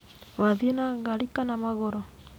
Wathiĩ na ngari kana magũrũ?